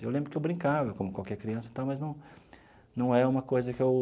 Eu lembro que eu brincava, como qualquer criança e tal, mas não não é uma coisa que eu